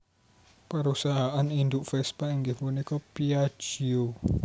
Perusahaan induk Vespa inggih punika Piaggio